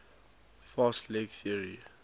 fast leg theory